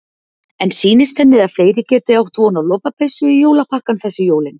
En sýnist henni að fleiri geti átt von á lopapeysu í jólapakkann þessi jólin?